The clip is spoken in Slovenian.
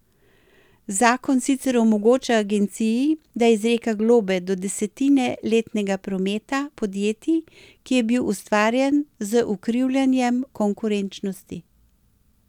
Zakon sicer omogoča agenciji, da izreka globe do desetine letnega prometa podjetij, ki je bil ustvarjen z ukrivljanjem konkurenčnosti.